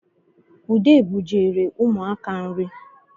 Ude bujere ụmụaka nri